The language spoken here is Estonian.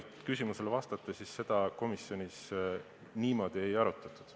Kui küsimusele otse vastata, siis seda komisjonis ei arutatud.